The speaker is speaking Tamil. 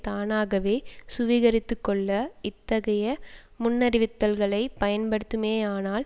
தானாகவே சுவீகரித்துக்கொள்ள இத்தகைய முன்னறிவித்தல்களை பயன்படுத்துமேயானால்